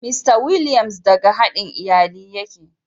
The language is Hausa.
Mista Williams daga haɗin iyalin yake.